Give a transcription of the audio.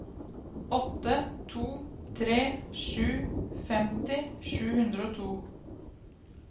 åtte to tre sju femti sju hundre og to